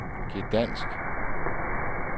Gdansk